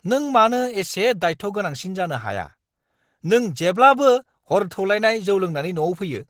नों मानो एसे दायथ' गोनांसिन जानो हाया! नों जेब्लाबो हर थौलायनाय जौ लोंनानै न'आव फैयो!